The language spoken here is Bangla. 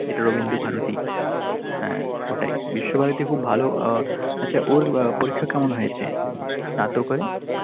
এটা রবীন্দ্রভারতী, হ্যাঁ ওটাই। বিশ্বভারতী খুব ভালো আহ আচ্ছা ওর পরীক্ষা কেমন হয়েছে? স্নাতকোত্ত এ?